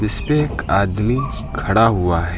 उसपे एक आदमी खड़ा हुआ है।